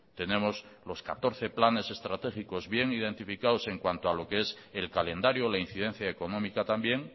tenemos los catorce planes estratégicos bien identificados en cuanto a lo que es el calendario la incidencia económica también